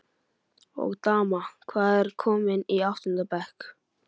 Og daman, hvað- komin í áttunda bekk?